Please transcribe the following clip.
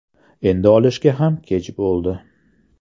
Endi olishga ham kech bo‘ldi.